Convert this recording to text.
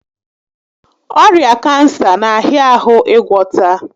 Ọrịa kansa n'ahịa ahụ ịgwọta